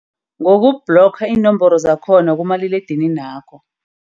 Ngoku-block iinomboro zakhona kumaliledininakho.